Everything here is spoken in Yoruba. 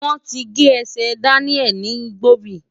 Wọ́n ti gé ẹsẹ̀ Daniel ní Igbobi.